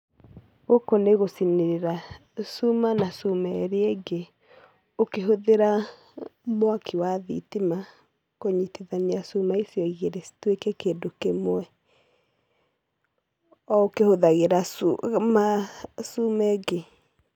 Gũkũ nĩ gũcinĩrĩra cuma na cuma ĩrĩa ĩngĩ ukĩhũthĩra mwaki wa thitima kũnyitithania cuma icio igĩrĩ cituĩke kĩndũ kĩmwe,o ukĩhũthagĩra cuma, cuma ĩngĩ.